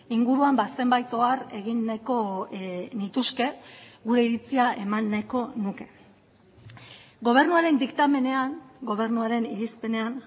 inguruan zenbait ohar egin nahiko nituzke gure iritzia eman nahiko nuke gobernuaren diktamenean gobernuaren irizpenean